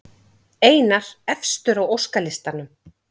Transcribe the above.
Einar efstur á óskalistanum